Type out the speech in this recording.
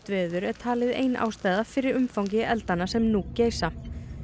veður er talið ein ástæðan fyrir umfangi eldanna sem nú geisa